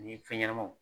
Ni fɛn ɲɛnamaw